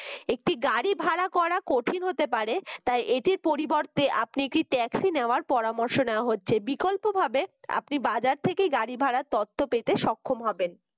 একটি গাড়ি ভাড়া করা কঠিন হতে পারে তাই এটির পরিবর্তে আপনি একটি taxi নেওয়ার পরামর্শ নেওয়া হচ্ছে বিকল্পভাবে আপনি বাজার থেকেই গাড়ি ভাড়া তথ্য পেতে সক্ষম হবেন